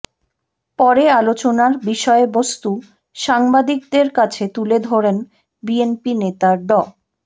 পরে আলোচনার বিষয়বস্তু সাংবাদিকদের কাছে তুলে ধরেন বিএনপি নেতা ড